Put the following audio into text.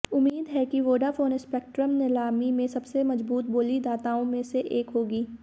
उम्मीद है कि वोडाफोन स्पेक्ट्रम नीलामी में सबसे मजबूत बोलीदाताओं में से एक होगी